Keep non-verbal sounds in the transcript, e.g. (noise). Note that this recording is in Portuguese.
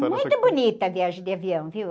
(unintelligible) Muito bonita a viagem de avião, viu?